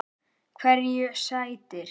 Hverju sætir?